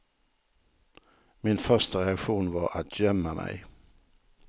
Min första reaktion var att gömma mig.